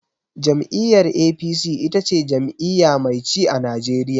Jam'iyyar APC ita ce jam'iyya mai ci a Najeriya.